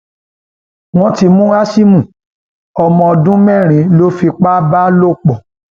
wọn ti mú hásímù ọmọ ọdún mẹrin lọ fipá bá lò pọ